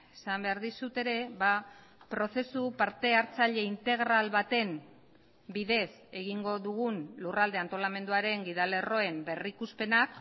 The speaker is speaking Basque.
esan behar dizut ere prozesu partehartzaile integral baten bidez egingo dugun lurralde antolamenduaren gidalerroen berrikuspena